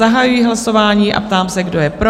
Zahajuji hlasování a ptám se, kdo je pro?